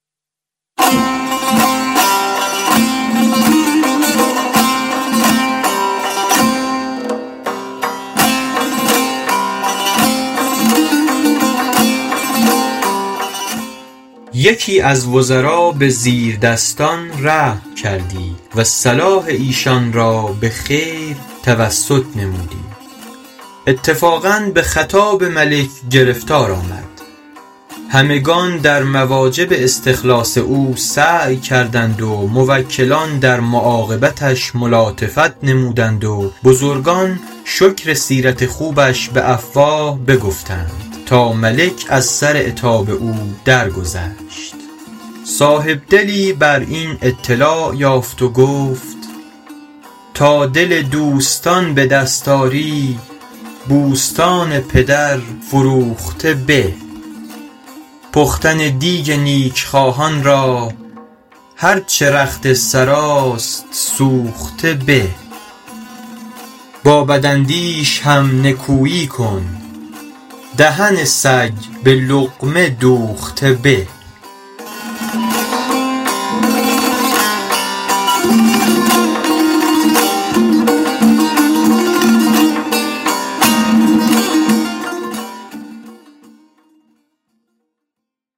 یکی از وزرا به زیردستان رحم کردی و صلاح ایشان را به خیر توسط نمودی اتفاقا به خطاب ملک گرفتار آمد همگنان در مواجب استخلاص او سعی کردند و موکلان در معاقبتش ملاطفت نمودند و بزرگان شکر سیرت خوبش به افواه بگفتند تا ملک از سر عتاب او درگذشت صاحبدلی بر این اطلاع یافت و گفت ﺗﺎ دل دوﺳﺘﺎن ﺑﻪ دﺳﺖ ﺁری ﺑﻮﺳﺘﺎن ﭘﺪر ﻓﺮوﺧﺘﻪ ﺑﻪ پختن دیگ نیکخواهان را هر چه رخت سراست سوخته به ﺑﺎ ﺑﺪاﻧﺪﻳﺶ هم ﻧﻜﻮﻳﻰ کن دهن ﺳﮓ ﺑﻪ ﻟﻘﻤﻪ دوﺧﺘﻪ ﺑﻪ